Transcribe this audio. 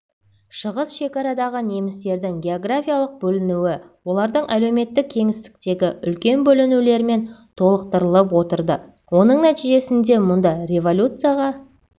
шығыс шекарадағы немістердің географиялық бөлінуі олардың әлеуметтік кеңістіктегі үлкен бөлінулермен толықтырылып отырды оның нәтижесінде мұнда революцияға